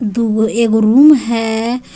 दू एक रूम है अं --